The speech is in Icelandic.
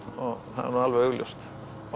og það er nú alveg augljóst